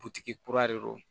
kura de don